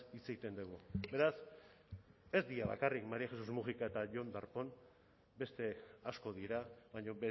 hitz egiten dugu beraz ez dira bakarrik maría jesús múgica eta jon darpón beste asko dira baina